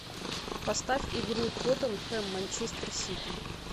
поставь игру тоттенхэм манчестер сити